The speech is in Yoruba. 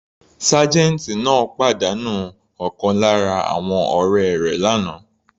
Sergeant náà pàdánù ọ̀kan lára àwọn ọ̀rẹ́ rẹ̀ l'ana.